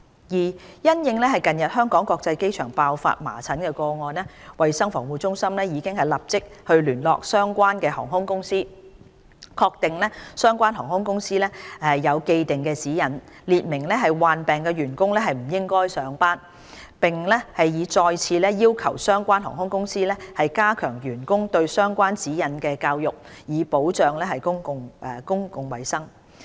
二因應近日香港國際機場爆發麻疹個案，衞生防護中心已立即聯絡相關航空公司，確定相關航空公司有既定指引，列明患病員工不應上班，並已再次要求相關航空公司就指引加強教育員工，以保障公共衞生。